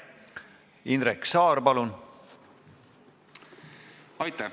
Indrek Saar, palun!